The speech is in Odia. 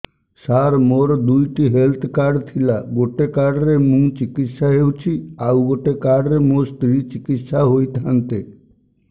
ସାର ମୋର ଦୁଇଟି ହେଲ୍ଥ କାର୍ଡ ଥିଲା ଗୋଟେ କାର୍ଡ ରେ ମୁଁ ଚିକିତ୍ସା ହେଉଛି ଆଉ ଗୋଟେ କାର୍ଡ ରେ ମୋ ସ୍ତ୍ରୀ ଚିକିତ୍ସା ହୋଇଥାନ୍ତେ